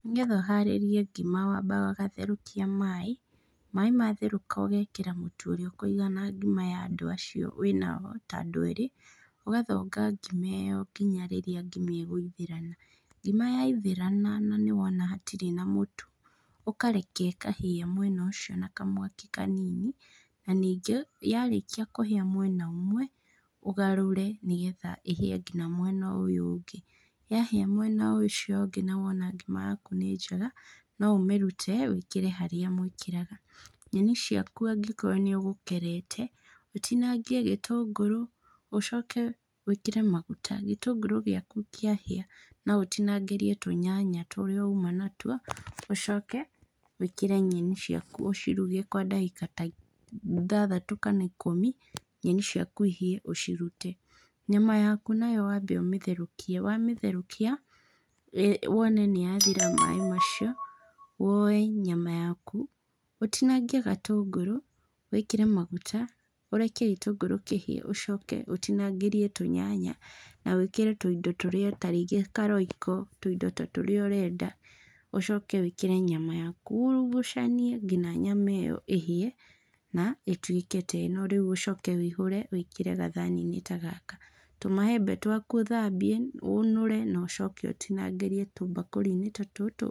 Nĩgetha ũharĩrie ngima wambaga ũgatherũkia maĩ, maĩ matherũka ũgekĩra mũtu ũrĩa ũkũigana ngima ya andũ acio wĩnao, ta andũ erĩ. Ũgathonga ngima ĩyo kinya rĩrĩa ngima ĩgũithĩrana. Ngima yaithĩrana na nĩ wona hatirĩ na mũtu, ũkareka ĩkahĩa mwena ũcio na kamwaki kanini, na ningĩ yarĩkia kũhĩa mwena ũmwe, ũgarũre nĩgetha ĩhĩe kinya mwena ũyũ ũngĩ. Yahĩa mwena ũcio ũngĩ na wona ngima yaku nĩ njega, no ũmĩrute wĩkĩre harĩa mwĩkĩraga. Nyeni ciaku angĩkorwo nĩũgũkerete, ũtinangie gĩtũngũrũ, ũcoke wĩkĩre maguta. Gĩtũngũrũ gĩaku kĩahĩa, no ũtinangĩrie tũnyanya tũrĩa uma natuo, ũcoke wĩkĩre nyeni ciaku ũciruge kwa ndagĩka ta ithathatu kana ikũmi, nyeni ciaku ihĩe ũcirute. Nyama yaku nayo wambe ũmĩtherũkie, wamĩtherũkia wone nĩyathira maĩ macio, woe nyama yaku ũtinangie gatũngũrũ, wĩkĩre maguta, ũreke gĩtũngũrũ kĩhĩe, ũcoke ũtinangĩrie tũnyanya na wĩkĩre tũindo tũrĩa ta rĩngĩ ka Royco, tũindo ta tũrĩa ũrenda, ũcoke wĩkĩre nyama yaku, urugucanie kinya nyama ĩyo ĩhĩe na ĩtuĩke ta ĩno, rĩu ũcoke wĩihũre wĩkĩre gathani-inĩ ta gaka. Tũmaembe twaku ũthambie, ũnũre na ũcoke ũtinangĩrie tũmbakũri-inĩ ta tũtũ.